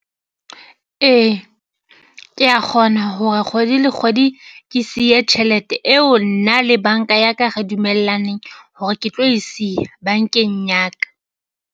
Ee, kea kgona hore kgwedi le kgwedi ke siye tjhelete eo nna le banka ya ka re dumellaneng hore ke tlo e siya bankeng ya ka.